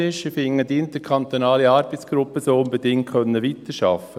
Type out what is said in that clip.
Ich finde, die interkantonale Arbeitsgruppe soll unbedingt weiterarbeiten können.